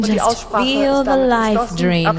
Die Aussprache ist damit geschlossen.